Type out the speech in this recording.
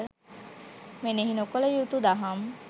මෙනෙහි නොකළ යුතු දහම්